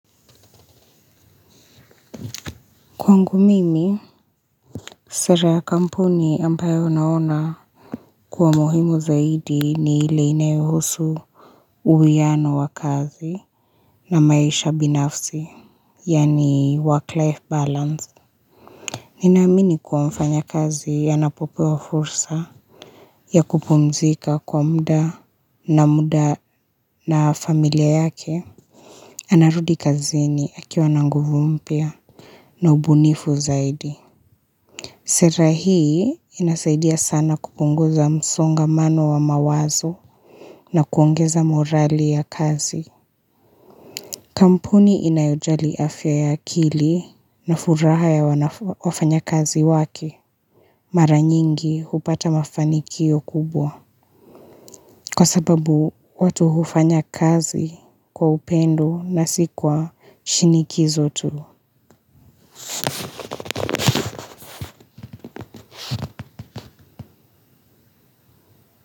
Kwangu mimi, sera ya kampuni ambayo naona kuwa muhimu zaidi ni ile inayohusu uwiano wa kazi na maisha binafsi, yaani work-life balance. Ninaamini kuwa mfanya kazi anapopewa fursa ya kupumzika kwa mda na mda na familia yake. Anarudi kazini akiwa na nguvu mpya na ubunifu zaidi. Sera hii inasaidia sana kupunguza msongamano wa mawazo na kuongeza morali ya kazi. Kampuni inayojali afya ya akili na furaha ya wafanya kazi wake. Mara nyingi hupata mafanikio kubwa. Kwa sababu watu hufanya kazi kwa upendo na si kwa shinikizo tu.